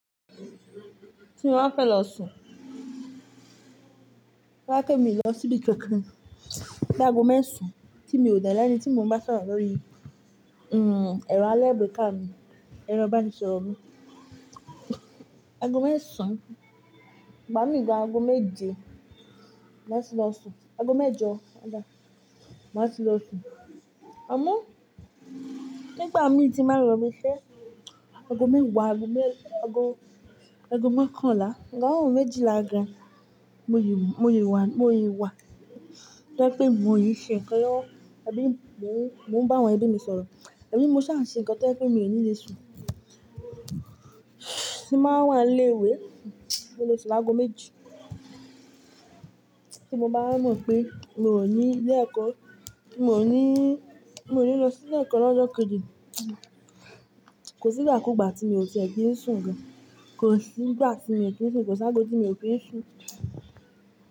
Tí mo bá fẹ́ lọ sùn, tó bá jẹ́ pé mi ò lọ síbi kòkàn bíi ago mẹ́sàn-án tí mo ò dẹ̀ ẹni tí mò ń bá sọ̀rọ̀ lórí, ẹ̀rọ alágbèéká mi, ẹ̀rọ ibanisoro mi. Ago mẹ́sàn-án, ìgbà mi gan ago méje máa tì lọ sùn, ago mẹ́jọ ọ̀gá, má tì lọ sùn. Àmọ́, nígbà mí tí ń bàá ń lọ ibi iṣẹ́ ago mẹ́wàá, ago mẹ́-- ago, ago mọ́kànlá, ago méjìlá gan, mo lè, mo lè wá, mo lè wá. To jẹ pé mo ṣì ń ṣe ǹkan lọ́wọ́, ẹbí mi, mò ń, mò ń bá àwọn ẹbí mi sọ̀rọ̀. Àbí mo ṣà ń ṣe nǹkan tí ó jẹ́ pé mi ò nílé sùn. Tí bá wà nílé ìwé mo lè sún ni aago méjì. Tí mo bá mọ̀ pé n ò ní ilé ẹ̀kọ́, tí mò ní, mò ní lọ sí ilé ẹ̀kọ́ lọ́jọ́ kejì, kò sí ìgbà kú gba tí mi ò ti ẹ kìí sùn gan, kò sí ìgbà tí mi o kíi ń sùn kò sí aago tí mi ò ki sùn.